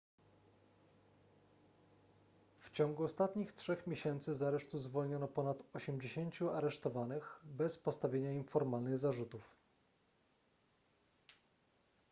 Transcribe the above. w ciągu ostatnich trzech miesięcy z aresztu zwolniono ponad 80 aresztowanych bez postawienia im formalnych zarzutów